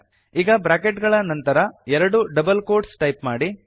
ಈಗ ಬ್ರಾಕೆಟ್ ಗಳ ನಂತರ ಎರಡು ಡಬಲ್ ಕೋಟ್ಸ್ ಟೈಪ್ ಮಾಡಿ